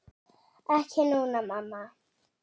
Ekki núna, mamma.